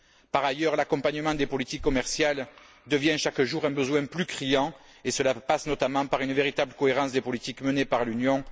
Par ailleurs, l'accompagnement des politiques commerciales devient chaque jour un besoin plus criant, et cela passe notamment par une véritable cohérence des politiques menées par l'Union.